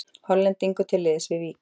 Hollendingur til liðs við Víking